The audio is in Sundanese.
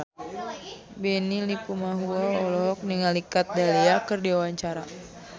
Benny Likumahua olohok ningali Kat Dahlia keur diwawancara